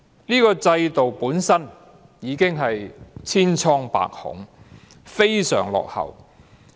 這個制度本身已經千瘡百孔，非常落後。